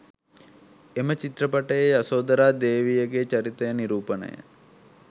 එම චිත්‍රපටයේ යශෝධරා දේවියගේ චරිතය නිරූපණය